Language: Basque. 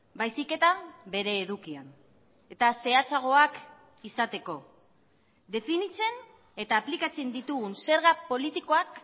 baizik eta bere edukian eta zehatzagoak izateko definitzen eta aplikatzen ditugun zerga politikoak